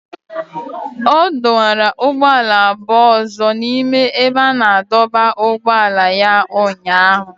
Ọ dọwara ụgbọala abụọ ọzọ n'ime ebe a na-adọba ụgbọala ya ụnyahụ